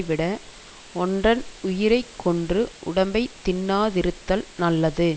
விட ஒன்றன் உயிரைக்கொன்று உடம்பை தின்னாதிருத்தல் நல்லது